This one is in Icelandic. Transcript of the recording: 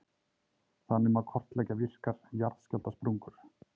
Þannig má kortleggja virkar jarðskjálftasprungur.